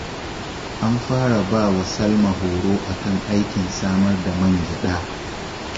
An fara ba wa Salma horo a kan aikin samar da man gyaɗa